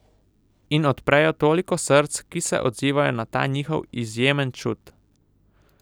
In odprejo toliko src, ki se odzivajo na ta njihov izjemen čut.